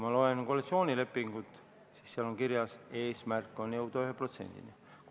Ma loen koalitsioonilepingut, seal on kirjas, et eesmärk on jõuda 1%-ni.